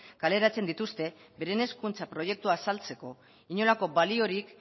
kaleratzen dituzte beren hezkuntza proiektua azaltzeko inolako baliorik